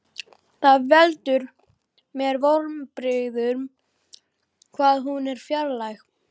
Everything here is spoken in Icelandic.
Það veldur mér vonbrigðum hvað hún er fjarlæg.